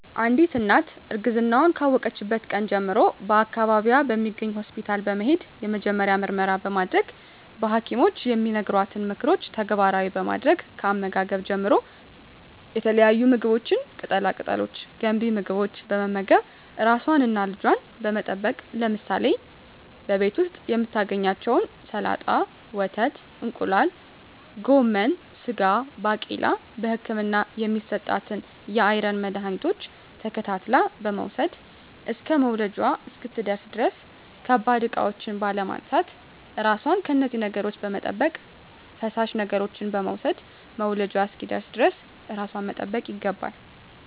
አንዲት እናት እርግዝናዋን ካወቀችበት ቀን ጀምሮ በአካባቢዋ በሚገኝ ሆስፒታል በመሄድ የመጀመሪያ ምርመራ በማድረግ በሀኪሞች የሚነገሯትን ምክሮች ተግባራዊ በማድረግ ከአመጋገብ ጀምሮ የተለያዩ ምግቦች ቅጠላ ቅጠሎች ገንቢ ምግቦች በመመገብ ራሷንና ልጇን በመጠበቅ ለምሳሌ በቤት ዉስጥ የምታገኛቸዉን ሰላጣ ወተት እንቁላል ጎመን ስጋ ባቄላ በህክምና የሚሰጣትን የአይረን መድሀኒቶች ተከታትላ በመዉሰድ እስከ መዉለጃዋ እስክትደርስ ድረስ ከባድ እቃዎች ባለማንሳት ራሷን ከነዚህ ነገሮች በመጠበቅ ፈሳሽ ነገሮችን በመዉሰድ መዉለጃዋ እስኪደርስ ድረስ ራሷን መጠበቅ ይገባል